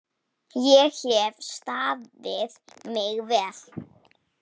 Ég hef staðið mig vel.